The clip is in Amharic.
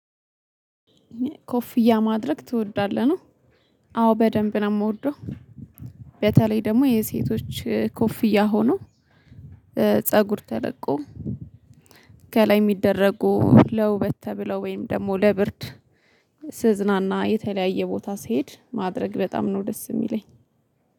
ኮፍያ ማድረግ ትወዳለህ ነው? አዎ በደንብ ነው የምወደው። ቤተላይ ደግሞ የሴቶች ኮፍያ ሆኖ ፀጉር ተለቆ ከላይ የሚደረጉ ለውበት ተብለው ወይም ደግሞ ለብርድ። ስዝናና የተለያየ ቦታ ስሄድ ማድረግ በጣም ነው ደስ የሚለኝ